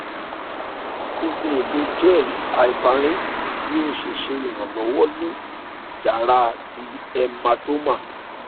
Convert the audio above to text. o le lo gel heparin bi o ṣe ṣe iranlọwọ ni iyara ti hematoma